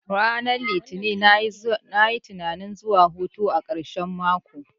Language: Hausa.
Ranar litini nayi tunanin zuwa hutu a karshen mako